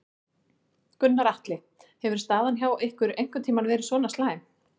Gunnar Atli: Hefur staðan hjá ykkur einhvern tímann verið svona slæm?